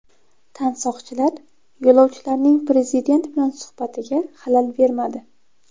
Tansoqchilar yo‘lovchilarning prezident bilan suhbatiga xalal bermadi.